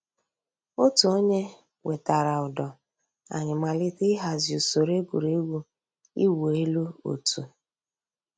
Ọ̀tù ònyè wètàrà ǔ́dọ̀, ànyị̀ màlítè íhàzì ǔsòrò ègwè́régwụ̀ ị̀wụ̀ èlù ọ̀tù.